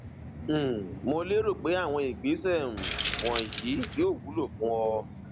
um mo lérò pé àwọn ìgbésẹ um wọnyí yóò wúlò fún ọ